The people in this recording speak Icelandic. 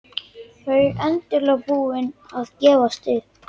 Þau endanlega búin að gefast upp.